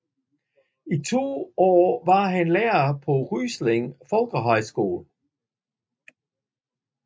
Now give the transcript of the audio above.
I to år var han lærer på Ryslinge Folkehøjskole